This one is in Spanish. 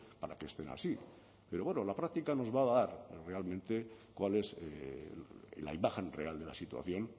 para que estén así pero bueno la práctica nos va a dar realmente cuál es la imagen real de la situación